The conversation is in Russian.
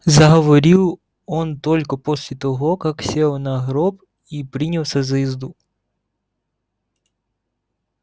заговорил он только после того как сел на гроб и принялся за езду